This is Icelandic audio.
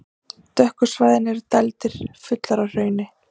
Dökku svæðin eru dældir, fullar af hrauni.